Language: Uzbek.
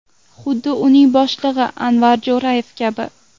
Xuddi uning boshlig‘i Anvar Jo‘rayev kabi.